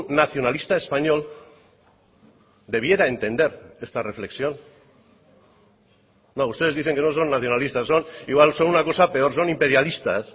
nacionalista español debiera entender esta reflexión ustedes dicen que no son nacionalistas igual son una cosa peor son imperialistas